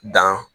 Dan